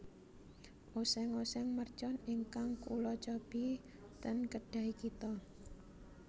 Oseng oseng mercon ingkang kula cobi ten Kedai Kita